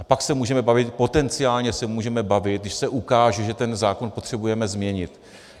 A pak se můžeme bavit, potenciálně se můžeme bavit, když se ukáže, že ten zákon potřebujeme změnit.